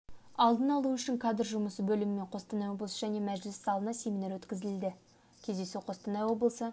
алдын-алу үшін кадр жұмысы бөлімімен қостанай облысы және мәжіліс залында семинар өткізілді кездесу қостанай облысы